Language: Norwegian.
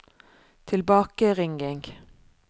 tilbakeringing